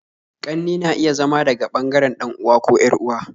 Ƙannena iya zama daga bangaren dan'uwa ko yar'uwa